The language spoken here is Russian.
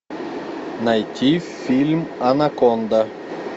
найти фильм анаконда